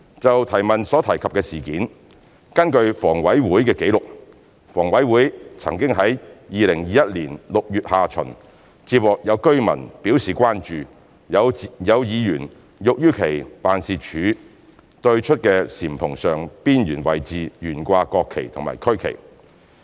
就質詢所提及的事件，根據房委會紀錄，房委會曾於2021年6月下旬接獲有居民表示關注有議員欲於其辦事處對出的簷篷上邊緣位置懸掛國旗及區旗。